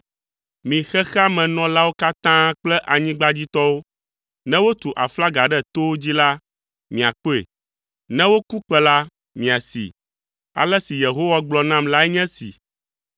Mi xexea me nɔlawo katã kple anyigbadzitɔwo, ne wotu aflaga ɖe towo dzi la, miakpɔe. Ne woku kpẽ la, miasee. Ale si Yehowa gblɔ nam lae nye esi: